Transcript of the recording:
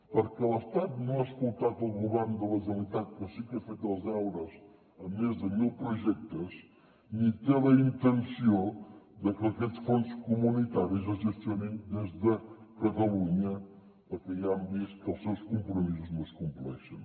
perquè l’estat no ha escoltat el govern de la generalitat que sí que ha fet els deures amb més de mil projectes ni té la intenció de que aquests fons comunitaris es gestionin des de catalunya perquè ja hem vist que els seus compromisos no es compleixen